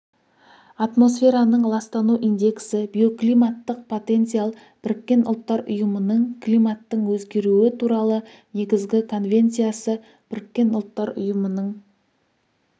атмосфераның ластану индексі биоклиматтық потенциал біріккен ұлттар ұйымының климаттың өзгеруі туралы негізгі конвенциясы біріккен ұлттар ұйымының